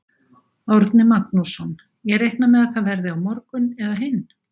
Árni Magnússon: Ég reikna með að það verði á morgun eða hinn?